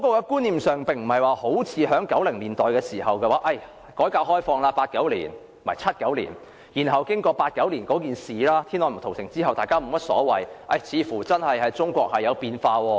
觀念上跟1990年代不同 ，1979 年改革開放，然後經過1989年天安門屠城後，似乎中國真的改變了。